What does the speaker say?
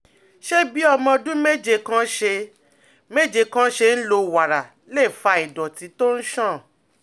Ṣé bí ọmọ ọdún méje kan ṣe méje kan ṣe ń lo wàrà lè fa ìdọ̀tí tó ń ṣàn?